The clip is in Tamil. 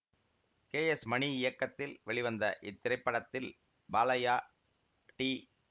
கே எஸ் மணி இயக்கத்தில் வெளிவந்த இத்திரைப்படத்தில் பாலைய்யா டி